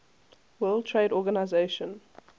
world trade organization